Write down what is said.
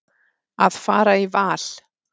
Að fara í val.